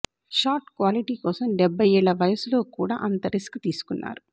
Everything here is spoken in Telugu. షాట్ క్వాలిటి కోసం డెబ్భై ఏళ్ల వయసులో కూడా అంత రిస్క్ తీసుకున్నారు